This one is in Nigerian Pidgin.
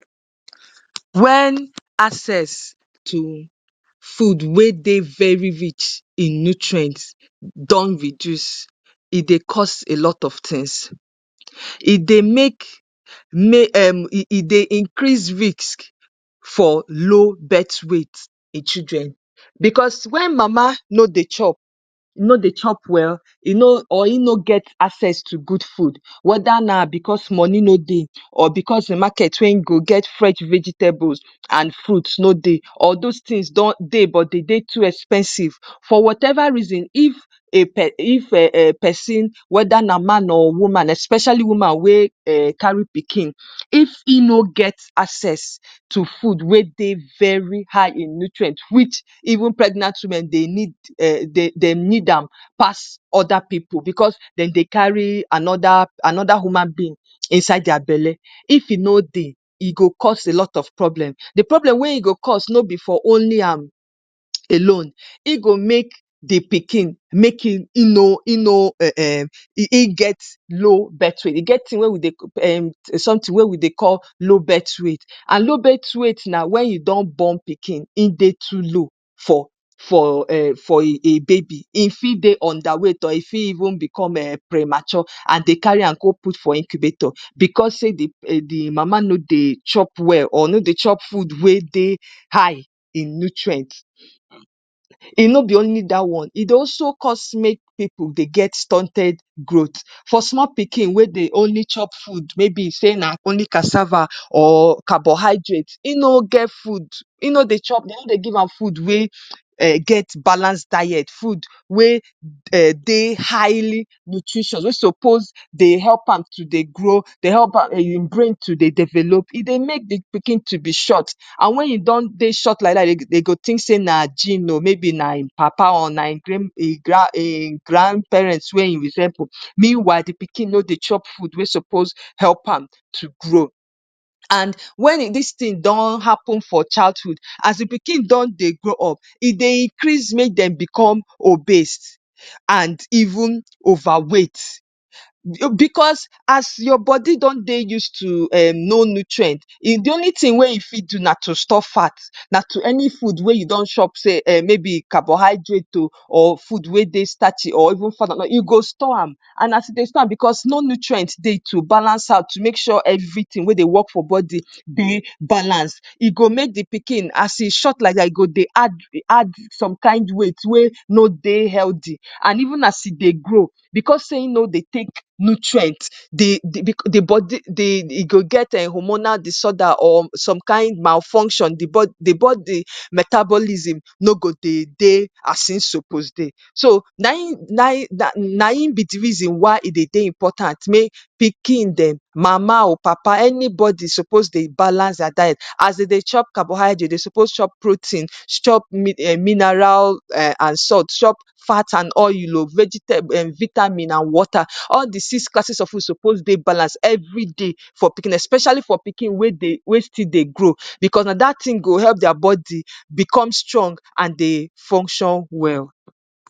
‎wen access to food wey dey very vich in new trent don reduce e dey cause a lot of thins e dey make mame dey increase risk for low bet waite en children becos wen mama no dey chop no dey chop well or e no get access to good food weda na becos mone no dey or becos de market wey hin go get fresh veetables and fruits or those tins don dey but dey de too expensive for whatever reason if a person um if person weda na man or woman especially woman wen carry pikin if e no get access to food we dey very high in nutriend even pregnant women dey need dey need am pass oda pipu bcos Dem dey call anoda pipu anoda human being inside their belle, if e no dey e go cause a lot of problems, de problem we e go cos no be for only am alone in go make de pikin make in No in no um um in get low birth rate e get de tin wen we dey cal sometimes wen we dey call low birth weight and low birth weight na wen u don born oikin in dey too low for um for a baby e Fi dey underweight or e Fi even dey premature and Dem carry am go out for incubator becos of say de mama no dey chop well or no dey chop food we dey high in nutriend no be only dat one e dey also cos make pipu dey get stunted growth for small pikin we dey only chop food we be say na only casava or carbohydrate e no get food in no dey chop in no dey give am food wen get balance diet food wen dey highly nutritious food wen suppose to dey help am to dey grow dey help am to dey develop e dey make de pikin to be short and wen u don dey short like dat dey go rink say na gene or naim papa or I'm um um grandparents we e resemble mainwhile de pikin no dey chop food we suppose help am to grow, and wen dis Rin don happen for childhood, as de pikin don dey grow up e dey Increase make Dem become obesed and even overweight becos as your body don dey use to no nutriend e de only tin we e fit do na to store fat and to any food we y don chop we be carbohydrate o or we dey starchy e go store am cos no nutriend dey to balance am to make sure say everything we dey work for body dey balance e go make de pikin as e short like dat e go dey add add add some kin weight we no dey healthy an even as e dey grow bcos say in no dey take nutriend dey de e de body e go get um hormonal disorder or somekin malfunction de body metabolism no go dey de as in suppose dey so naim naim naim be de reason why e dey de important make oikin Dem, mama o, papa, anybody suppose de balance their diet as u dey chop carbohydrate dey suppose chop protein chop mineral and salt, chop fat an oil o vegetable vitamin an water, all de six classes of food suppose dey balance everyday especially for oikin we dey we still dey grow bcos na da tin go help their body become strong and dey function well